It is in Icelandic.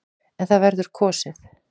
En það verður kosið.